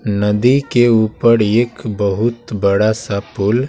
नदी के ऊपर एक बहुत बड़ा सा पुल--